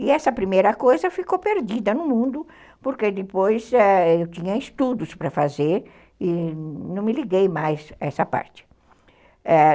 E essa primeira coisa ficou perdida no mundo, porque depois eu tinha estudos para fazer e não me liguei mais a essa parte.